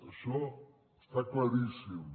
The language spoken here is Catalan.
això està claríssim